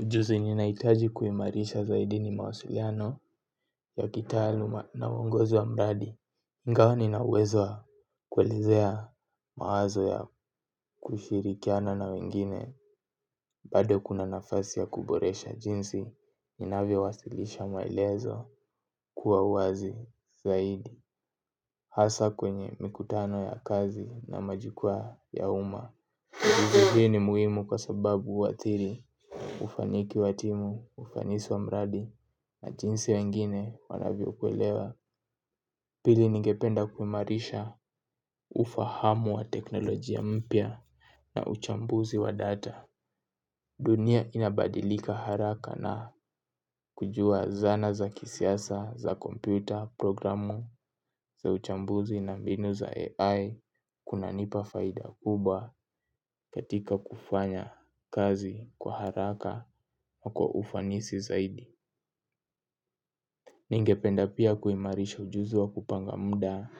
Ujuzi ninaohitaji kuimarisha zaidi ni mawasiliano ya kitaaluma na uongozo wa mradi ingawa nina uwezo wa kuelezea mawazo ya kushirikiana na wengine bado kuna nafasi ya kuboresha jinsi ninavyowasilisha maelezo kwa uwazi zaidi. Hasa kwenye mikutano ya kazi na majikwaa ya uma. Ujuzi ni muhimu kwa sababu huathiri ufaniki wa timu ufanis wa mradi na jinsi wengine wanavyokuelewa. Pili ningependa kuimarisha ufahamu wa teknolojia mpya na uchambuzi wa data. Dunia inabadilika haraka na kujua zana za kisiasa, za kompyuta, programu, za uchambuzi na mbinu za AI kunanipa faida kubwa katika kufanya kazi kwa haraka na ufanisi zaidi. Ningependa pia kuimarisha ujuzi wa kupanga mda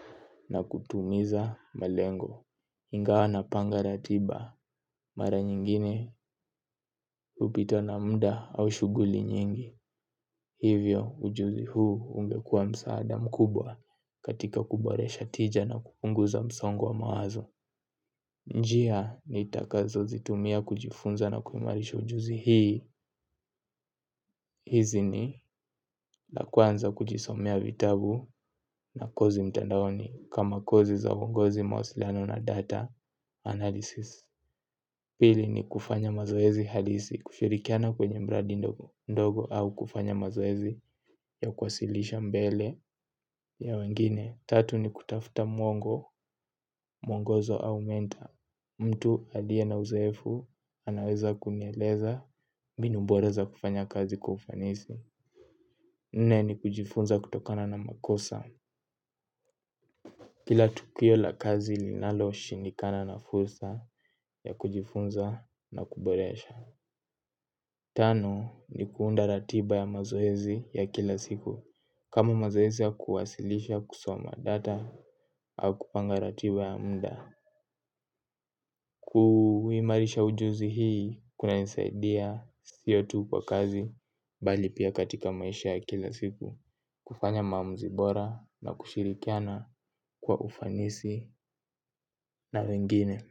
na kutumiza malengo. Hingawa napanga ratiba mara nyingine hupitwa na mda au shughuli nyingi. Hivyo ujuzi huu ungekuwa msaada mkubwa katika kuboresha tija na kupunguza msongo wa mawazo. Njia nitakazozitumia kujifunza na kuimarisha ujuzi hii. Hizi ni la kwanza kujisomea vitabu na kozi mtandaoni kama kozi za uongozi mawasilano na data analysis. Pili ni kufanya mazoezi hadisi kushirikiana kwenye mradi ndogo au kufanya mazoezi ya kuwasilisha mbele ya wengine. Tatu ni kutafuta mwongo, mwongozo au mentor. Mtu aliye na uzoefu anaweza kunieleza mbinu bora za kufanya kazi kwa ufanisi. Nne ni kujifunza kutokana na makosa. Kila tukio la kazi linaloshindikana na fursa ya kujifunza na kuboresha. Tano ni kuunda ratiba ya mazoezi ya kila siku. Kama mazoezi ya kuwasilisha kusoma data au kupanga ratiba ya mda. Kuimarisha ujuzi hii kuna nisaidia sio tu kwa kazi bali pia katika maisha ya kila siku. Kufanya maamuzi bora na kushirikiana kwa ufanisi na wengine.